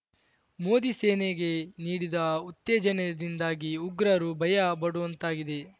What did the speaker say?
ಮೋದಿ ಸೇನೆಗೆ ನೀಡಿದ ಉತ್ತೇಜನದಿಂದಾಗಿ ಉಗ್ರರು ಭಯ ಪಡುವಂತಾಗಿದೆ